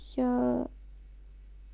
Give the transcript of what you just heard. я